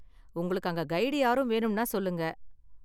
உங்களுக்கு அங்க கைடு யாரும் வேணும்னா சொல்லுங்க.